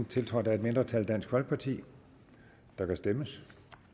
tiltrådt af et mindretal der kan stemmes